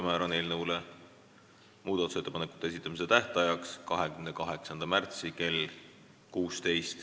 Määran eelnõu muudatusettepanekute esitamise tähtajaks 28. märtsi kell 16.